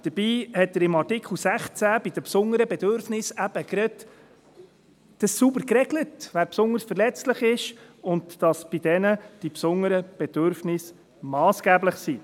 Dabei hat er im Artikel 16 bei den besonderen Bedürfnissen eben gerade sauber geregelt, wer besonders verletzlich ist, und dass bei diesen Leuten die besonderen Bedürfnisse massgeblich sind.